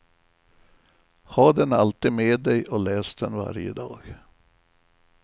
Ha den alltid med dig och läs den varje dag.